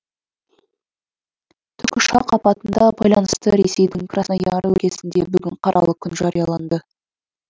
тікұшақ апатына байланысты ресейдің краснояр өлкесінде бүгін қаралы күн жарияланды